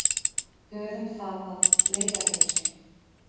Höfum það að leiðarljósi.